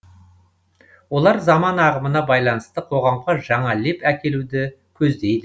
олар заман ағымына байланысты қоғамға жаңа леп әкелуді көздейді